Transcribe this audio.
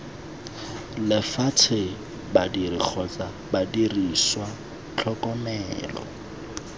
lefatshe badiri kgotsa didiriswa tlhokomelo